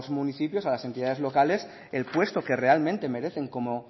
municipios y a las entidades locales el puesto que realmente merecen como